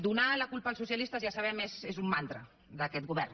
donar la culpa als socialistes ja ho sabem és un mantra d’aquest govern